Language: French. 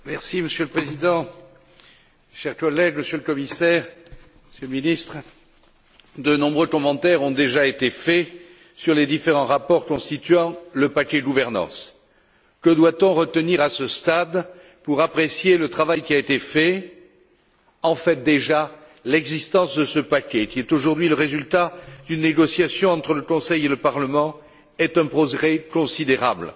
Monsieur le Président, Monsieur le Commissaire, Monsieur le Ministre, chers collègues, de nombreux commentaires ont déjà été faits sur les différents rapports constituant le paquet gouvernance. Que doit on retenir à ce stade pour apprécier le travail qui a été fait? En fait, l'existence de ce paquet, qui est aujourd'hui le résultat d'une négociation entre le Conseil et le Parlement, est déjà un progrès considérable.